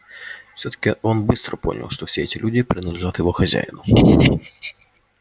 и всё-таки он быстро понял что все эти люди принадлежат его хозяину